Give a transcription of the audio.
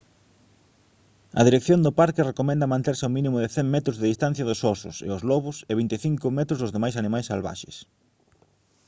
a dirección do parque recomenda manterse a un mínimo de 100 metros de distancia dos osos e os lobos e 25 metros dos demais animais salvaxes